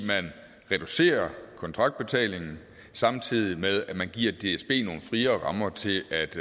man reducerer kontraktbetalingen samtidig med at man giver dsb nogle friere rammer til